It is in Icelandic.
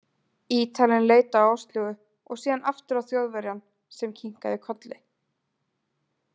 Ítalinn leit á Áslaugu, og síðan aftur á Þjóðverjann, sem kinkaði kolli.